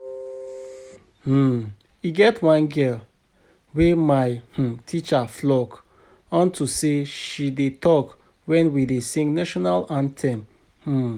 um E get one girl wey my um teacher flog unto say she dey talk wen we dey sing national anthem um